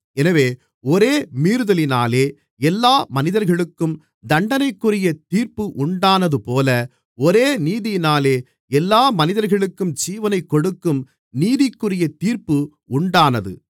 எனவே ஒரே மீறுதலினாலே எல்லா மனிதர்களுக்கும் தண்டனைக்குரிய தீர்ப்பு உண்டானதுபோல ஒரே நீதியினாலே எல்லா மனிதர்களுக்கும் ஜீவனைக் கொடுக்கும் நீதிக்குரிய தீர்ப்பு உண்டானது